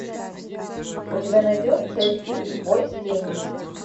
у тебя найдется фильм бой с тенью